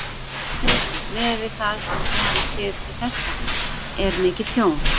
Haukur: Miðað við það sem þið hafið séð til þessa, er mikið tjón?